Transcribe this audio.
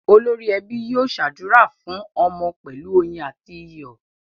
Olórí ẹbí yóò ṣàdúrà fún ọmọ pẹ̀lú oyin àti iyọ̀.